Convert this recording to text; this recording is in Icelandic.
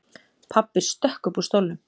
Pabbi stökk upp úr stólnum.